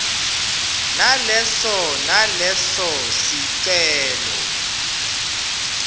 naleso naleso sicelo